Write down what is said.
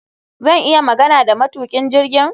Zan iya magana da matukin jirgin?